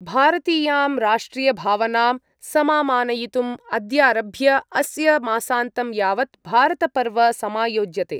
भारतीयां राष्ट्रियभावनां समामानयितुम् अद्यारभ्य अस्य मासान्तं यावत् भारतपर्व समायोज्यते।